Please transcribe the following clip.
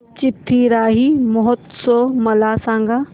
चिथिराई महोत्सव मला सांग